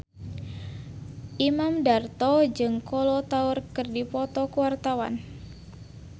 Imam Darto jeung Kolo Taure keur dipoto ku wartawan